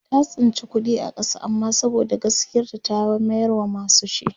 ta tsinci kuɗi a ƙasa amma saboda gaskiyar ta ta mayar wa masu shi